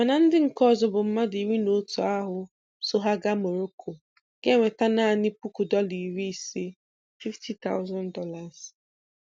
Mana ndị nke ọzọ bụ mmadụ iri na otu ahụ so ha gaa Moroko ga-enweta naanị puku dọla iri ise ($50,000).